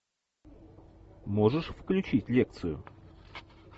можешь включить лекцию